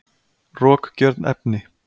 rokgjörn efni